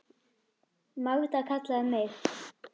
Magda kallaði mig